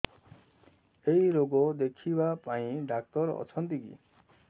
ଏଇ ରୋଗ ଦେଖିବା ପାଇଁ ଡ଼ାକ୍ତର ଅଛନ୍ତି କି